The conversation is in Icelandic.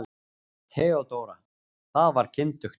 THEODÓRA: Það var kyndugt.